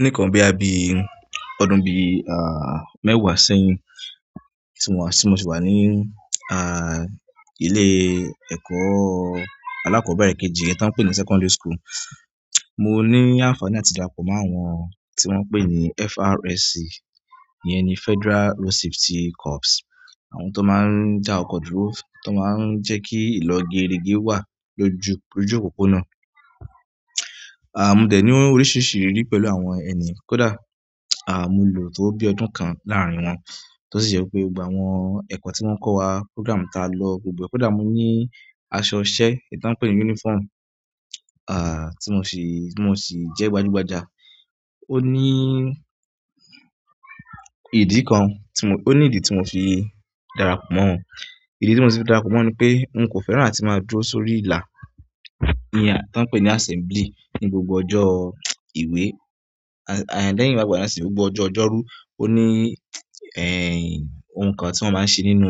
Ní ìkan bí i àbí ọdún bí i, à, mẹ́wàá sẹ́yìn tí mo ti wà ní, à, ilé ẹ̀kọ́ alákọ̀ọ́bẹ̀rẹ̀ kejì ẹ́ ta n pè ní secondary school, mo ní ànfàní àti dárápọ̀ mọ́ àwọn tí wọ́n ń pè ní FRSC, yẹn ni Federal Road Safety Corps, àwọn tó máa ń já ọkọ̀ dúró, tó máa ń jẹ́ kí ìlò geerege wà lójú, lójú òpópónà. À, mo dẹ̀ ní oríṣiríṣi ìrírí pẹ̀lú àwọn ẹni kódà, à, mo lò tó bi ọdún kan láàrín wọn, tó sì ṣe pé gbogbo àwọn ẹ̀kọ́ tí wọ́n kọ́ wa, program tí a lọ gbogbo, kódà mo ní aṣọ iṣẹ́ ẹ́ ta n pè ní uniform, à, tí mo sì, tí mo sì jẹ́ gbajúgbajà. Ó ní ìdí kan tí mo, ó ní ìdí tí mo fi dára pọ̀ mọ́ wọn. Ìdí tí mo sì dára pọ̀ mọ́ wọn ni pé n kò fẹ́ràn láti máa dúró sórí ìlà ní ẹ́ ta n pè ní assembly ní gbogbo ọjọ́ ìwé. À, lẹ́yìn wá gba na síni gbogbo ọjọ́ ọjọ́rú, ó ní, ẹ́, ohun kan tí wọ́n máa ń ṣe nínú,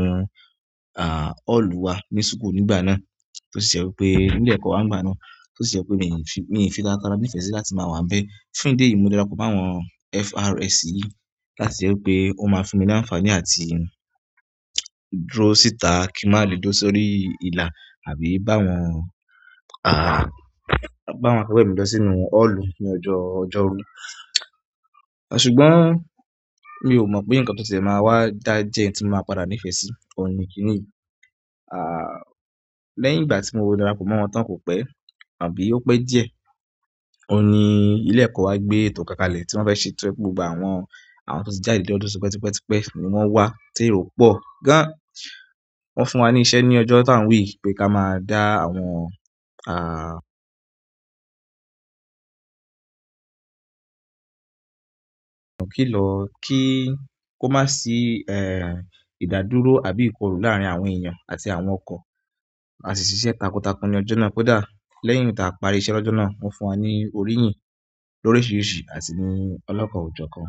à, ọ́ọ̀lù wa ní sùkù nígbà náà tó sì je pé ilé ẹ̀kọ́ wa ń gba náà, tó sì je pé mi ò ní fi, mi ò ní fi taratara nífẹ̀ẹ́ sí láti máa wà níbẹ̀. Fún ìdí èyí, mo dára pọ̀ mọ́ àwọn FRSC láti rí pé ó máa fi mí ní ànfàní àti dúró síta kí n má le dó sórí ìlà àbí bá wọn, à, bá wọn ká pẹ̀ mí lọ sínú ọ́ọ̀lù ní ọjọ́ ọjọ́rú. Ṣùgbọ́n mi ò mọ̀ pé nǹkan tó ti ṣe máa wá dá jẹ́ ẹ́ tí mo máa padà nífẹ̀ẹ́ sí, ó ní kí nìyí. À, lẹ́yìn ìgbà tí mo dára pọ̀ mọ́ wọn tán kò pẹ́ àbí ó pẹ́ díẹ̀, ó ní ilé ẹ̀kọ́ wa gbé ètò kákalẹ̀ tí wọ́n fẹ́ ṣe tó pé gbogbo àwọn, àwọn tó ti jáde lọ́dún tó pẹ́tipẹ́tipẹ́ ni wọ́n wá tí èrò pọ̀ gan. Wọ́n fún wa ní iṣẹ́ ní ọjọ́ tá ń wì pé ká máa dá àwọn, à, kílọ̀ kí kó má sí, ẹ́, ìdádúró àbí ìkorù láàrín àwọn èèyàn àti àwọn ọkọ̀ àti ṣiṣẹ́ takuntakun ní ọjọ́ náà. Kódà lẹ́yìn tí a parí iṣẹ́ lọ́jọ́ náà, wọ́n fún wa ní òríyìn lóríṣiríṣi àti ní ọlọ́kọ̀ ojọ́ kan.